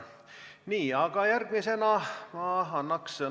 Nii, aga järgmisena annan ma sõna Riina Sikkutile.